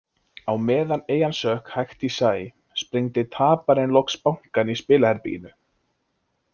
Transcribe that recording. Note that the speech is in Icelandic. Á meðan eyjan sökk hægt í sæ, sprengdi taparinn loks bankann í spilaherberginu.